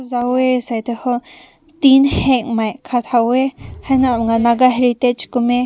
zaweh sai ta ho tin heng mai kat haw weh hai na naga heritage aw weh.